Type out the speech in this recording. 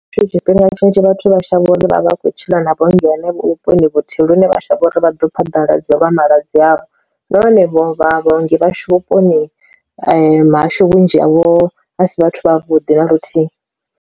Tshifhinga tshinzhi vhathu vha shavha uri vhavha vha khou tshila na vhaongi henevho vhuponi vhuthihi lune vha shavha uri vha ḓo phaḓaladzo lwa malwadze avho, na hone vha vhaongi vhashu vhuponi hahashu vhunzhi havho a si vhathu vhavhuḓi na luthihi.